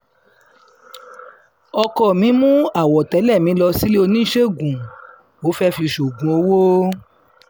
ọkọ mi mú àwọ̀tẹ́lẹ̀ mi lọ um sílé oníṣègùn ó fẹ́ẹ́ fi ṣoògùn um owó